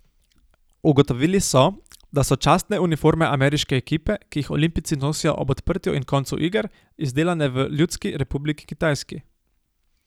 Ugotovili so, da so častne uniforme ameriške ekipe, ki jih olimpijci nosijo ob odprtju in koncu iger, izdelane v Ljudski republiki Kitajski.